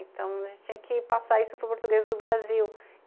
Então a gente tinha que passar isso para o português do Brasil.